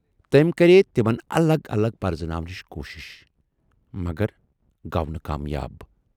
تمٔۍ کرییہِ تِمن الگ الگ پرزناونٕچ کوٗشِش مگر گَو نہٕ کامیاب۔